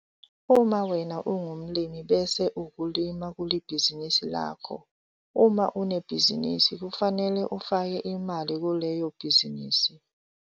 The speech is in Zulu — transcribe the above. Uma wena ungumlimi bese ukulima kulibhizinisi lakho. Uma unebhizinisi kufanele ufake imali kuleyo bhizinisi.